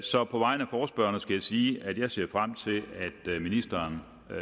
så på vegne af forespørgerne skal jeg sige at vi ser frem til at ministeren